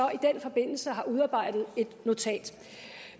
i den forbindelse har udarbejdet et notat